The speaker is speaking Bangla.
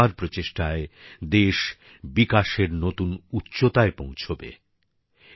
আমাদের সবার প্রচেষ্টায় দেশ বিকাশের নতুন উচ্চতায় পৌঁছবে